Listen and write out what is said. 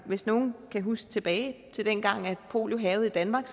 hvis nogen kan huske tilbage til dengang hvor polio hærgede i danmark